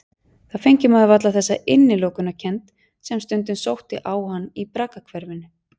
Þá fengi maður varla þessa innilokunarkennd sem stundum sótti á hann í braggahverfinu.